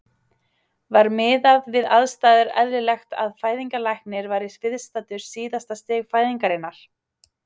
Var miðað við aðstæður eðlilegt að fæðingarlæknir væri viðstaddur síðasta stig fæðingarinnar?